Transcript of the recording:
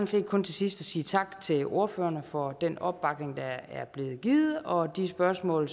set kun til sidst at sige tak til ordførerne for den opbakning der er blevet givet og de spørgsmål